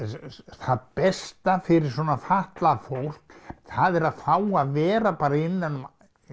það besta fyrir svona fatlað fólk það er að fá að vera innan um